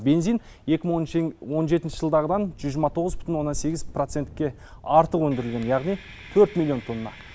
он жетінші жылдағыдан жүз жиырма тоғыз бүтін оннан сегіз процентке артық өндірілген яғни төрт миллион тонна